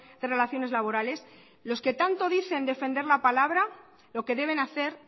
de relaciones laborales los que tanto dicen defender la palabra lo que deben hacer